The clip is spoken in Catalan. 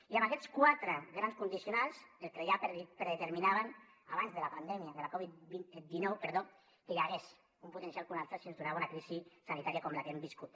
i amb aquests quatre grans condicionants el que ja predeterminaven abans de la pandèmia de covid dinou que hi hagués un potencial col·lapse si es donava una crisi sanitària com la que hem viscut